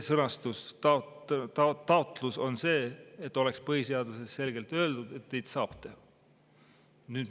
Taotleme selle sõnastusega, et oleks põhiseaduses selgelt öeldud, et neid saab teha.